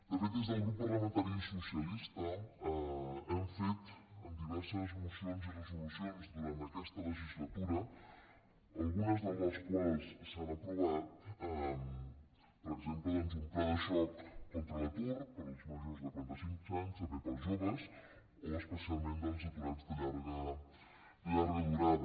de fet des del grup parlamentari socialista hem fet diverses mocions i resolucions durant aquesta legislatura algunes de les quals s’han aprovat per exemple doncs un pla de xoc contra l’atur per als majors de quarantacinc anys també per als joves o especialment dels aturats de llarga durada